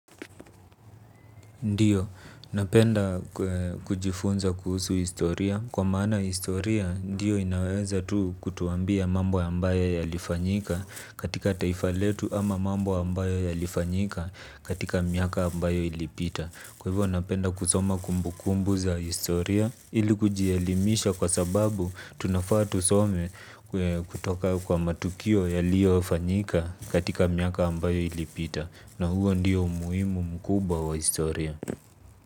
Ndiyo, napenda kujifunza kuhusu historia kwa maana historia, ndiyo inaweza tu kutuambia mambo ambayo yalifanyika katika taifa letu ama mambo ambayo yalifanyika katika miaka ambayo ilipita. Kwa hivyo napenda kusoma kumbu kumbu za historia ili kujielimisha kwa sababu tunafaa tusome kutoka kwa matukio yaliyo fanyika katika miaka ambayo ilipita na huo ndiyo muhimu mkuba wa historia.